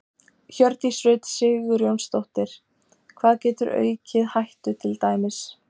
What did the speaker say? Hjördís Rut Sigurjónsdóttir: Hvað getur aukið hættu til dæmis?